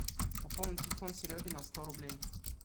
пополнить телефон сереги на сто рублей